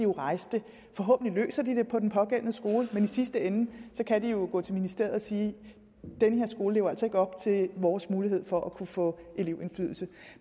rejse det forhåbentlig løser de det på den pågældende skole men i sidste ende kan de jo gå til ministeriet og sige den her skole lever altså ikke op til vores mulighed for at få elevindflydelse